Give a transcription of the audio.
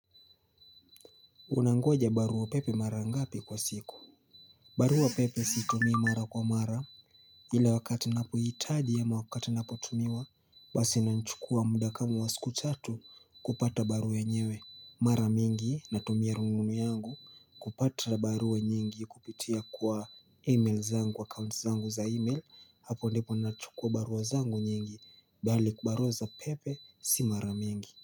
Unangoja baruapepe mara ngapi kwa siku? Baruapepe si tumi mara kwa mara. Ila wakati ninapohitaji ama wakati napotumiwa basi inanchukua muda kama wa siku chatu kupata barua yenyewe. Mara mingi, natumia rununu yangu. Kupata barua nyingi kupitia kwa email zangu wa kaunt zangu za email. Hapo ndipo ninanchukua barua zangu nyingi. Bali barua za pepe, si mara mingi.